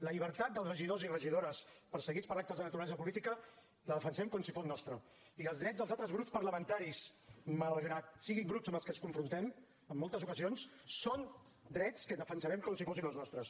la llibertat dels regidors i regidores perseguits per actes de naturalesa política la defensem com si fos nostra i els drets dels altres grups parlamentaris malgrat siguin grups amb els quals ens confrontem en moltes ocasions són drets que defensarem com si fossin els nostres